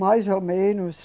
Mais ou menos.